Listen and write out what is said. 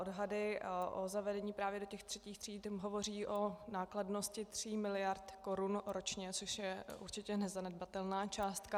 Odhady o zavedení právě do těch třetích tříd hovoří o nákladnosti tří miliard korun ročně, což je určitě nezanedbatelná částka.